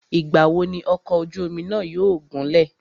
Ìgbà wo ni ọ̀kọ̀ ojú omi náà yóò gúnlẹ̀?